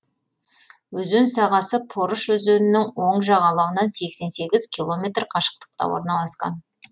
өзен сағасы порыш өзенінің оң жағалауынан сексен сегіз километр қашықтықта орналасқан